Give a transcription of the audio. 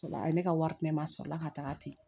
A ye ne ka wari di ne ma a sɔrɔ la ka taga ten